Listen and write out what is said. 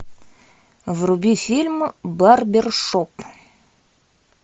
вруби фильм барбершоп